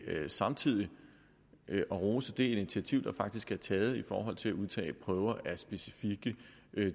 samtidig at rose det initiativ der faktisk er taget i forhold til at udtage prøver af specifikke